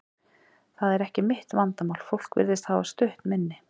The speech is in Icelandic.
Það er ekki mitt vandamál, fólk virðist hafa stutt minni.